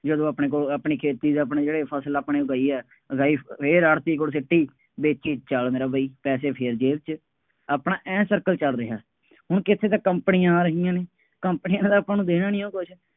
ਜਦੋਂ ਆਪਣੇ ਕੋਲ ਆਪਣੀ ਖੇਤੀ ਦਾ ਆਪਣੇ ਜਿਹੜੇ ਫਸਲ ਆਪਣੇ ਉਗਾਈ ਹੈ, ਉਗਾਈ, ਫੇਰ ਆੜ੍ਹਤੀਏ ਕੋਲ ਸੁੱਟੀ, ਵੇਚੀ ਚੱਲ ਮੇਰਾ ਬਾਈ, ਪੈਸੇ ਫੇਰ ਜੇਬ ਚ, ਆਪਣਾ ਆਏਂ circle ਚੱਲ ਰਿਹਾ, ਹੁਣ ਕਿੱਥੇ ਤਾਂ ਕੰਪਨੀਆਂ ਆ ਰਹੀਆਂ ਨੇ, ਕੰਪਨੀਆਂ ਵਾਲਿਆਂ ਨੇ ਆਪਾਂ ਨੂੰ ਦੇਣਾ ਨਹੀਂਉਂ ਕੁੱਛ,